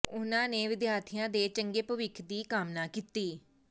ਉਹਨਾਂ ਨੇ ਵਿਦਿਆਰਥੀਆਂ ਦੇ ਚੰਗੇ ਭਵਿੱਖ ਦੀ ਕਾਮਨਾ ਕੀਤੀ